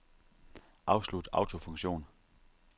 Afslut autofunktion.